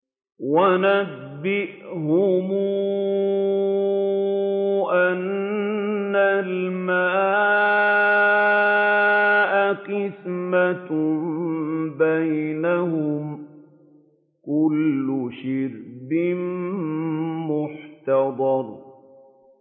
وَنَبِّئْهُمْ أَنَّ الْمَاءَ قِسْمَةٌ بَيْنَهُمْ ۖ كُلُّ شِرْبٍ مُّحْتَضَرٌ